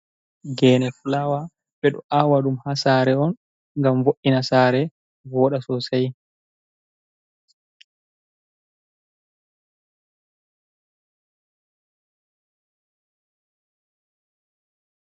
Geene fulawa ɓe ɗo awa ɗum ha saare on ngam vo’’ina saare voɗa sosai.